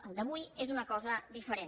el d’avui és una cosa diferent